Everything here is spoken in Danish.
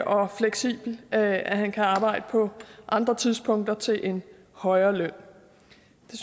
og fleksibel at at han kan arbejde på andre tidspunkter til en højere løn